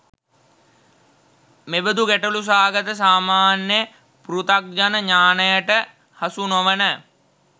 මෙබදු ගැටලු සහගත සාමාන්‍ය පෘථග්ජන ඤාණයට හසුනොවන